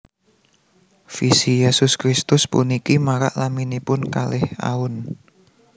Visi Yesus Kristus puniki marak laminipun kalih aun